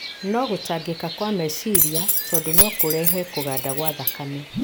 Na gũtangĩka kwa meciria, tondũ no kũrehe kũganda kwa thakame